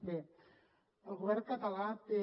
bé el govern català té